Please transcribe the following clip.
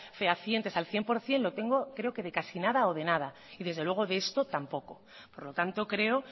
fehacientes al cien por ciento lo tengo creo que de casi nada o de nada y desde luego de esto tampoco por lo tanto creo